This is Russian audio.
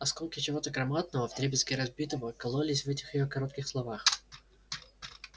осколки чего-то громадного вдребезги разбитого кололись в этих её коротких словах